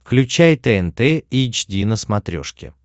включай тнт эйч ди на смотрешке